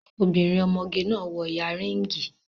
Obìnrin ọmọge náà wọ yanríngì